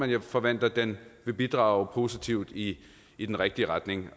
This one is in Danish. jeg forventer at den vil bidrage positivt i i den rigtige retning